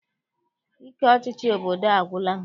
Ike ọchịchị obodo a agwụla m.